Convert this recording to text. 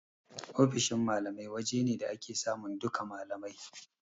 Ofishin malamai waje ne da ake samun duka malamai